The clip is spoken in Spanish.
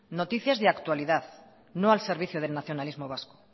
noticias de actualidad no al servicio del nacionalismos vasco